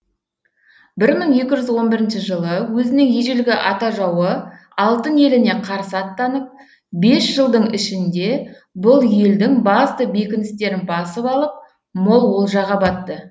бір мың екі жүз он бірінші жылы өзінің ежелгі ата жауы алтын еліне қарсы аттанып бес жылдың ішінде бұл елдің басты бекіністерін басып алып мол олжаға батты